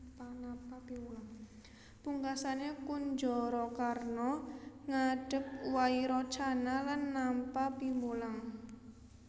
Pungkasané Kunjarakarna ngadhep Wairocana lan nampa piwulang